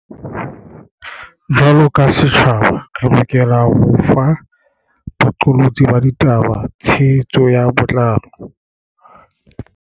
Jwaloka setjhaba, re lokela ho fa boqolotsi ba ditaba tshe hetso ka botlalo.